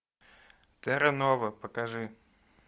терра нова покажи